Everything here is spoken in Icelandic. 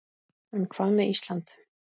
En hvað með Ísland.